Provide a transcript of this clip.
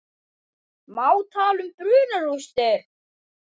Má tala um brunarústir?